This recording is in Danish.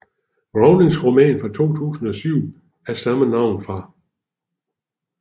Rowlings roman fra 2007 af samme navn fra